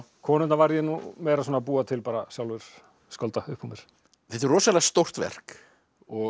konurnar varð ég nú meira að búa til sjálfur skálda upp úr mér þetta er rosalega stórt verk og